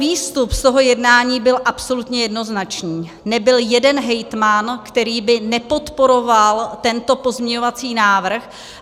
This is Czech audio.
Výstup z toho jednání byl absolutně jednoznačný: nebyl jeden hejtman, který by nepodporoval tento pozměňovací návrh.